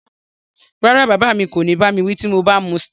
Rárá, bàbá mi kò ní bá mi wí bí mo bá mu Star